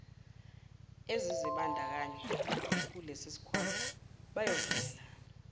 ezizibandakanya kulesisikhwama bayovumelana